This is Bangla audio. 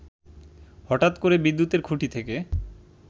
হঠাৎ করে বিদ্যুতের খুঁটি থেকে